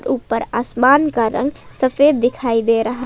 ऊपर आसमान का रंग सफेद दिखाई दे रहा--